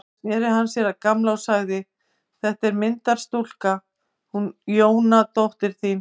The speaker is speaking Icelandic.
Síðan sneri hann sér að Gamla og sagði: Þetta er myndarstúlka, hún Jóra dóttir þín.